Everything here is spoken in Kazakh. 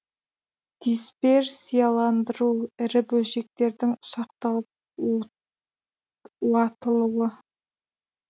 дисперсияландыру ірі бөлшектердің ұсақталып уатылуы